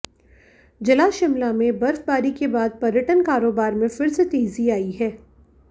जिला शिमला में बर्फबारी के बाद पर्यटन कारोबार में फिर से तेजी आई है